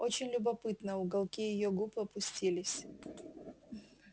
очень любопытно уголки её губ опустились